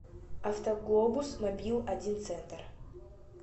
автоглобус мобил один центр